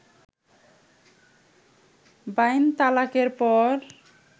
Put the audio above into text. বাইন তালাকের পর